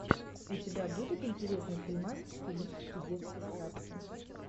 у тебя будет интересный фильмас в стилистике детской сказки